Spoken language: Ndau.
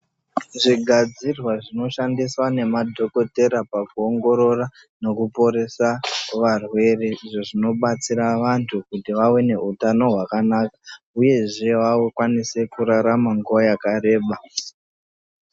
Zvigadzirwa zvinoshandiswa nemadhogodheya pakuongorora nekuporesa varwere, zvinobatsira vantu kuti vawane utano hwakanaka uyezve vakwanise kurarama nguwa yakareba.